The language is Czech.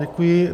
Děkuji.